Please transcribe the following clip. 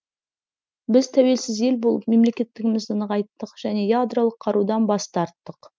біз тәуелсіз ел болып мемлекеттігімізді нығайттық және ядролық қарудан бас тарттық